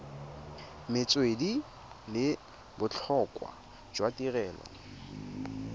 metswedi le botlhokwa jwa tirelo